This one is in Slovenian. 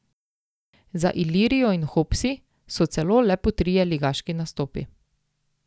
Za Ilirijo in Hopsi so celo le po trije ligaški nastopi.